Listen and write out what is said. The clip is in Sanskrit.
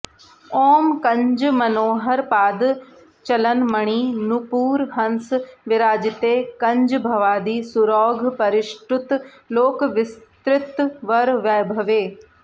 ॐ कञ्जमनोहर पादचलन्मणि नूपुरहंस विराजिते कञ्जभवादि सुरौघपरिष्टुत लोकविसृत्वर वैभवे